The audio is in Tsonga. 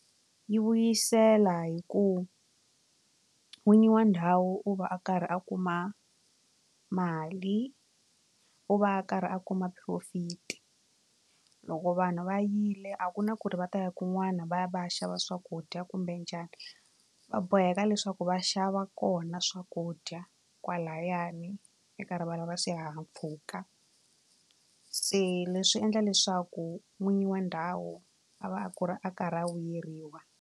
Yi vuyisela hi ku n'winyi wa ndhawu u va a karhi a kuma mali u va a karhi a kuma profit loko vanhu va yile a ku na ku ri va ta ya kun'wana va ya va ya xava swakudya kumbe njhani va boheka leswaku va xava kona swakudya kwalayani eka swihahampfhuka se leswi endla leswaku n'winyi wa ndhawu a va a ku ri a karhi a vuyeriwa.